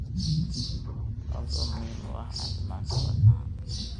taasoo muhiim u ah caafimaadka wadnaha.